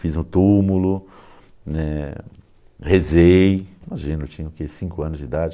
Fiz um túmulo, eh, rezei, imagina, eu tinha cinco anos de idade.